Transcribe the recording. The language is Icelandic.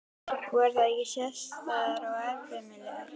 Voru þær ekki sérstæðar og eftirminnilegar?